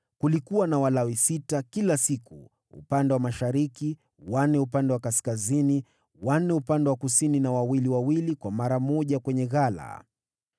Kulikuwa na Walawi sita kila siku upande wa mashariki, wanne upande wa kaskazini, wanne upande wa kusini, na wawili wawili kwa mara moja kwenye ghala.